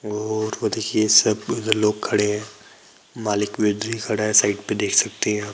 और वह देखिए सब लोग खड़े है मालिक भी खड़ा है साइड में देख सकते है आप--